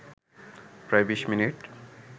প্রায় ২০ মিনিট